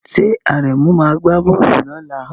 Ṣé Àrẹ̀mú máa gbá bọ́ọ̀lù lọ́la?